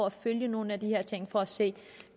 at følge nogle af de her ting for at se